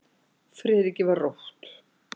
Friðriki var rótt.